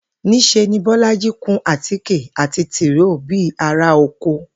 Ní s̩e ni Bó̩lájí kun àtikè àti tìróò bí ará oko